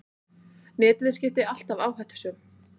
Netviðskipti alltaf áhættusöm